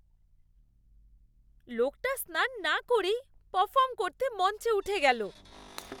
লোকটা স্নান না করেই পারফর্ম করতে মঞ্চে উঠে গেল।